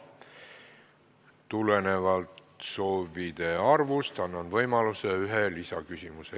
Tulenevalt soovide arvust annan võimaluse esitada üks lisaküsimus.